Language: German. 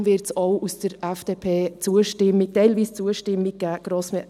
Darum wird es auch aus der FDP teilweise Zustimmung geben.